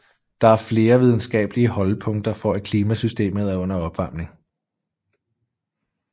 Der er flere videnskabelige holdepunkter for at klimasystemet er under opvarmning